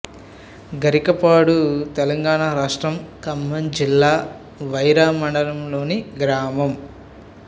గరికపాడు తెలంగాణ రాష్ట్రం ఖమ్మం జిల్లా వైరా మండలంలోని గ్రామం